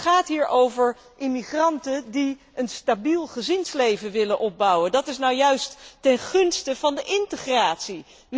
Het gaat hier over immigranten die een stabiel gezinsleven willen opbouwen. Dat is nu juist ten gunste van de integratie.